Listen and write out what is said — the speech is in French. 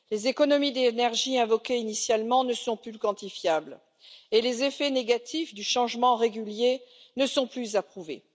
Les économies d'énergie invoquées initialement ne sont plus quantifiables et les effets négatifs du changement régulier ne sont plus à prouver.